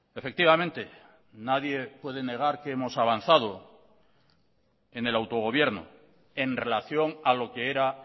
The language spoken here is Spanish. efectivamente nadie puede negar que hemos avanzado en el autogobierno en relación a lo que era